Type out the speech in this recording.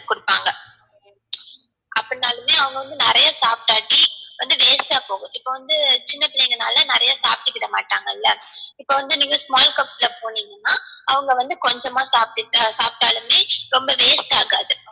அப்டினாளுமே அவங்க வந்து நிறையா சாப்டாட்டி வந்து waste ஆ போகும் இப்போ வந்து சின்ன பிள்ளைங்கனாள நிறைய சாப்ட மாட்டாங்கள்ள இப்போ வந்து நீங்க small cup ல போனிங்கனா அவங்க வந்து கொஞ்சமா சாப்டுட்டு சாப்டாலுமே ரொம்ப waste ஆகாது